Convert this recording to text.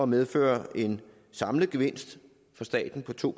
medføre en samlet gevinst for staten på to